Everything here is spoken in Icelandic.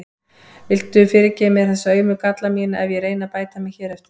Viltu fyrirgefa mér þessa aumu galla mína ef ég reyni að bæta mig hér eftir?